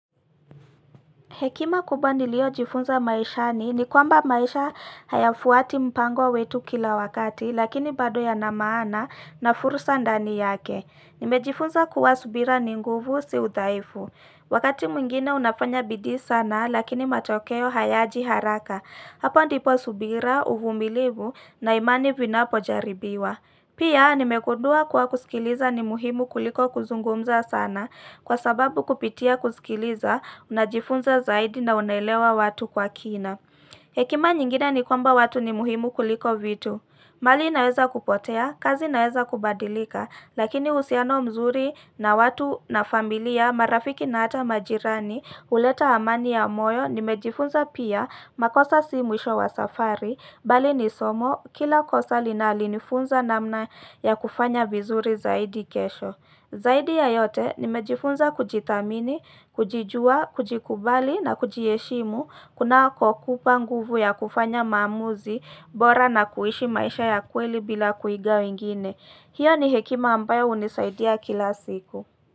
Hekima kubwa niliyojifunza maishani ni kwamba maisha hayafuati mpango wetu kila wakati lakini bado yana maana na fursa ndani yake. Nimejifunza kuwa subira ni nguvu si udhaifu. Wakati mwingine unafanya bidii sana lakini matokeo hayaji haraka. Hapo ndipo subira, uvumilivu na imani vinapojaribiwa. Pia nimegundua kuwa kusikiliza ni muhimu kuliko kuzungumza sana kwa sababu kupitia kusikiliza, najifunza zaidi na unaelewa watu kwa kina. Hekima nyingine ni kwamba watu ni muhimu kuliko vitu. Mali inaweza kupotea, kazi inaweza kubadilika, lakini uhusiano mzuri na watu na familia, marafiki na hata majirani, huleta amani ya moyo, nimejifunza pia makosa si mwisho wa safari bali ni somo, kila kosa linanifunza namna ya kufanya vizuri zaidi kesho zaidi ya yote nimejifunza kujithamini, kujijua, kujikubali na kujiheshimu kuna kukupa nguvu ya kufanya maamuzi bora na kuishi maisha ya kweli bila kuiga wengine. Hiyo ni hekima ambayo hunisaidia kila siku.